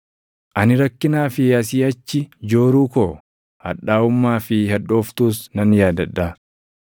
Ani rakkinaa fi asii achi jooruu koo, hadhaaʼummaa fi hadhooftuus nan yaadadha.